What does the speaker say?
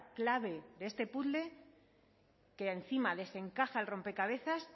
clave de este puzle que encima les encaja el rompecabezas